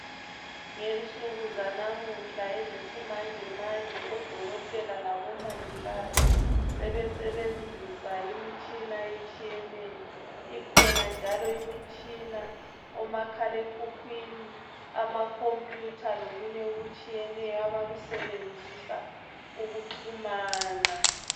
Ngensuku zanamuhla ezesimanjemanje odokotela labamongikazi sebesebenzisa imitshina etshiyeneyo ikhona njalo imitshina omakhala ekhukwini ama computer lokunye okutshiyeneyo abakusebenzisa ukuxhumana